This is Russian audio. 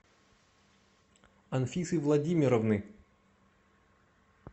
анфисы владимировны